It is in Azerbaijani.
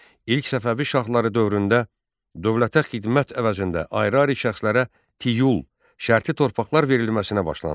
İlk Səfəvi şahları dövründə dövlətə xidmət əvəzində ayrı-ayrı şəxslərə tiul, şərti torpaqlar verilməsinə başlandı.